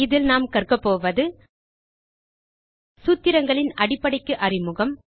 இதில நாம் கற்கபோவது சூத்திரங்களின் அடிப்படைக்கு அறிமுகம்